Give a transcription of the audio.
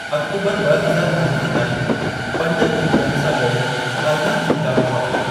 अक्टूबर ॿ हज़ार अरिणां ताईं, पंज पूंगिड़नि सां गॾु अरिणां चीता हुआ।